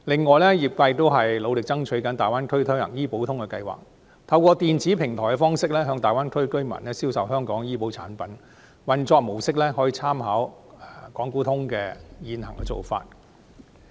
此外，業界亦正努力爭取在大灣區推行"醫保通"計劃，透過電子平台向大灣區居民銷售香港的醫保產品，運作模式可參考港股通的現行做法。